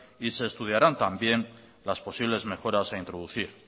y se estudiarán también las posibles mejoras a introducir